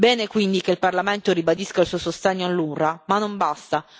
Bene quindi che il Parlamento ribadisca il suo sostegno all'UNRWA, ma non basta.